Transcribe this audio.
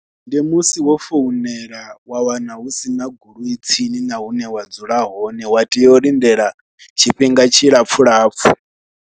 Ndi musi wo founela wa wana hu si na goloi tsini na hune wa dzula hone wa tea u lindela tshifhinga tshilapfhu lapfhu.